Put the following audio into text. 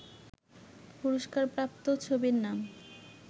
পুরস্কারপ্রাপ্ত ছবির নাম